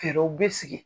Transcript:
Fɛɛrɛw bɛ sigi